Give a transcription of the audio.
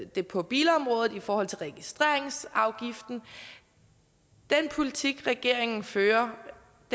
det på bilområdet i forhold til registreringsafgiften den politik regeringen fører